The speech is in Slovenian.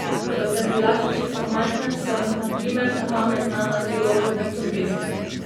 Ko sem bila še čisto majhna, sem, na primer, na pamet znala celo kopico pesmi.